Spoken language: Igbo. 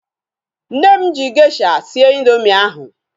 Nne m ji gesha sie indoomị ahu